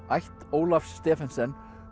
ætt Ólafs Stephensen